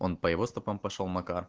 он по его стопам пошёл макар